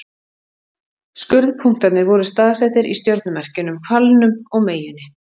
Skurðpunktarnir voru staðsettir í stjörnumerkjunum Hvalnum og Meyjunni.